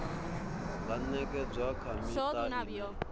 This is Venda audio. nga ṅekedzwa kha miṱa ine